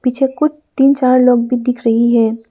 मुझे कुछ तीन चार लोग भी दिख रही है।